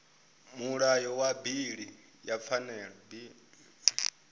mulayo wa bili ya pfanelo